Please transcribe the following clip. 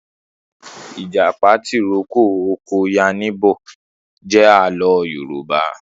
Ìjàpá tìrókó ọkọ yánníbo jẹ àlọ́ Yorùbá